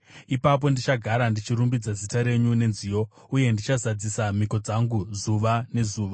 Ipapo ndichagara ndichirumbidza zita renyu nenziyo, uye ndichazadzisa mhiko dzangu zuva nezuva.